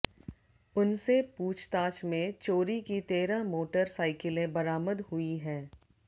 उनसे पूछताछ में चोरी की तेरह मोटर साइकिलें बरामद हुयी है